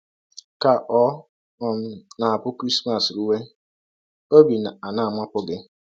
Ka ọ̀ um na - abụ Krismas rụwe, ọbi um ana - amapụ gị? um